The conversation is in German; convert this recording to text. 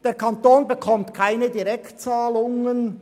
Der Kanton erhält keine Direktzahlungen.